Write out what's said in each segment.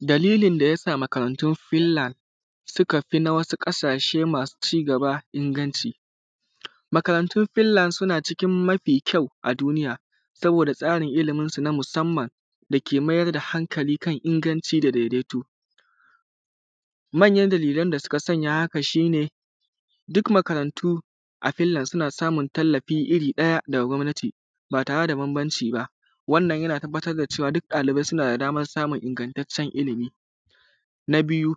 Dalilin da ya sa makarantun fillan suka fi na wasu ƙasashe masu cigaba inganci. Makarantun fillan suna cikin mafi kyau a duniya saboda da tsarin iliminsu na musanman da ke mayar da hankali kan inganci da daidaito, manyan dalilin da suka sanya haka shi ne duk makarantu a fillan suna samun tallafi iri ɗaya daga gwamnati ba tare da bambanci ba wannan yana nuna cewa ɗalibai suna da daman samun ingantaccen ilimi, na biyu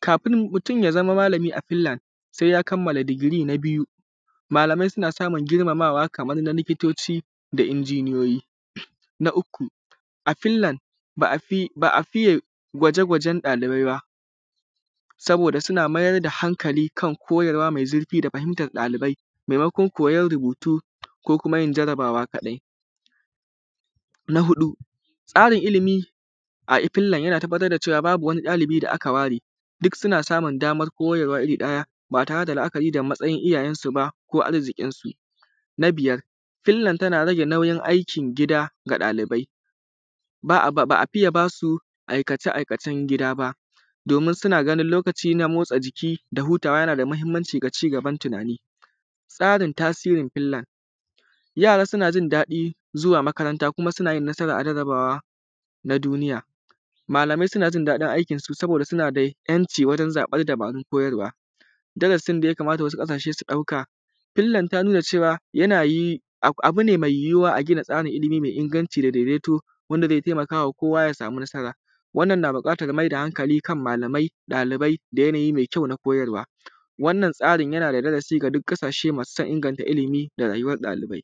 kafin mutun ya zamo malami a fillan sai ya kammala digi na biyu. Malamai suna samun girmamawa kaman na likitoci da injiniyoyi, na uku a fillan ba a fiye gwaje-gwajen ɗalibai ba saboda suna mayar da hankali akan koyarwa me zurfi ba kaman da fahintam ɗalibai maimakon koyan rubutu ko kuma yin jarabawa kaɗai, na huɗu tsarin ilimi a fillan yana tabbar da cewa babu wani ɗalibi da aka ware duk suna samu daman koyarwa iri ɗaya ba tare da ganin matsayin iyayensu ne ko matsayin jikinsu. Na biyar fillan tana rage nauyin aikin gida ga ɗalibai ba a iya ba su aikace-aikacen gida ba domin suna ganin lokaci na motsa jiki da motsa yana da mahinmanci ga cigaban tunani. Tsarin tasirin fillan yara suna jin daɗin zuwa makaranta kuma suna yin nasara a jarabawa na duniya malamai suna jin daɗin aikinsu domin suna da ‘yanci a wajen zaɓan dabarun koyarwa. Darasin da ya kamata wasu ƙasashe su ɗauka, fillan ta nuna cewa yanayi abu ne me yuyuwa a gina tsarin ilimi mai inganci dadaidaito a wanda zai taimakawa kowa ya yi nasara, wannan na buƙatan mai da hankali ga malamai da ɗalibai da yanayi mai kyau na koyarwa, wannan tsarin yana da darasi ga duk ƙasashe masu san inganta ilimi da rayuwan ɗalibai.